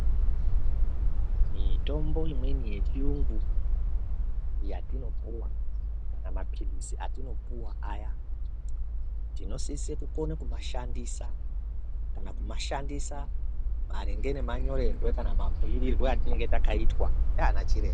Mitombo imweni yechiyungu yatinopuwa kana maphilizi atinopuwa aya, tinosise kukone kumashandisa kana kumashandisa maringe nemanyorerwe kana mabhuyirirwe atinenge takaitwa ndianachiremba.